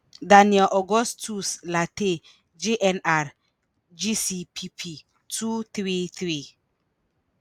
daniel augustus lartey jnr (gcpp) - 2 3. 3.